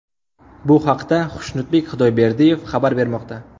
Bu haqda Xushnud Xudoyberdiyev xabar bermoqda .